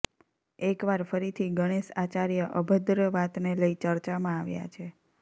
એકવાર ફરીથી ગણેશ આચાર્ય અભદ્ર વાતને લઈ ચર્ચામાં આવ્યા છે